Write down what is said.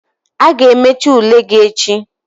Ị ga-emecha ule gị echi!